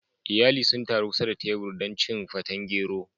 Iyali sun taru kusa da kan tebur don cin feten gero.